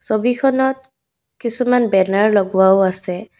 ছবিখনত কিছুমান বেনাৰ লগোৱাও আছে।